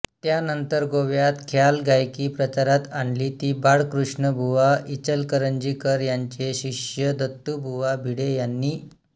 त्यानंतर गोव्यात ख्याल गायकी प्रचारात आणली ती बाळकृष्णबुवा इचलकरंजीकर यांचे शिष्य दत्तुबुवा भिडे यांनी